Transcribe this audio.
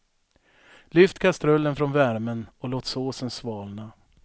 Lyft kastrullen från värmen och låt såsen svalna.